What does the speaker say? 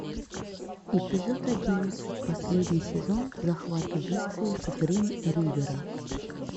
эпизод одиннадцать последний сезон захват убийцы с грин ривера